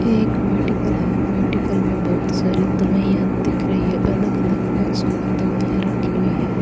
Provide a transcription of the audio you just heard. एक मेडिकल है मेडिकल में बहुत सारी दवाइयां दिख रही है अलग अलग बॉक्सों में दवाइयां रखी हुई है।